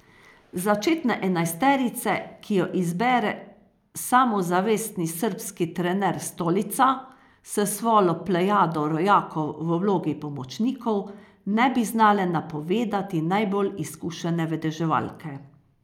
Začetne enajsterice, ki jo izbere samozavestni srbski trener Stolica s svojo plejado rojakov v vlogi pomočnikov, ne bi znale napovedati najbolj izkušene vedeževalke.